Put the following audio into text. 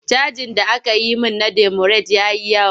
Cajin da aka yi min na demurej ya yi yawa.